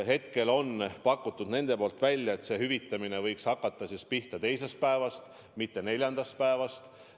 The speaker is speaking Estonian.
Hetkel on nende poolt välja pakutud, et hüvitamine võiks hakata pihta teisest päevast, mitte neljandast päevast.